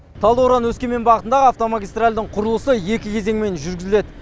талдықорған өскемен бағытындағы автомагистральдің құрылысы екі кезеңмен жүргізіледі